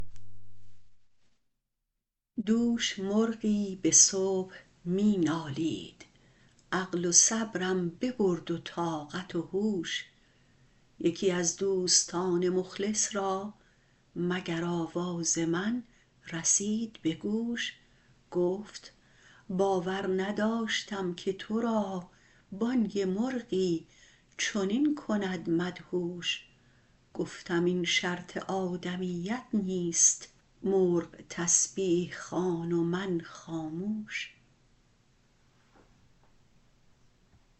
دوش مرغی به صبح می نالید عقل و صبرم ببرد و طاقت و هوش یکی از دوستان مخلص را مگر آواز من رسید به گوش گفت باور نداشتم که تو را بانگ مرغی چنین کند مدهوش گفتم این شرط آدمیت نیست مرغ تسبیح خوان و من خاموش